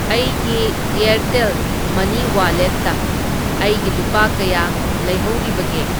ꯑꯩꯒꯤ ꯑꯦꯔꯇꯦꯜ ꯃꯅꯤ ꯋꯥꯂꯦꯠꯇ ꯑꯩꯒꯤ ꯂꯨꯄꯥ ꯀꯌꯥ ꯂꯩꯍꯧꯔꯤꯕꯒꯦ?